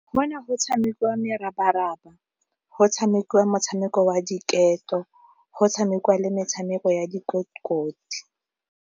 Go ne go tshamekiwa merabaraba, go tshamekiwa motshameko wa diketo, go tshamekiwa le metshameko ya dikotikoti.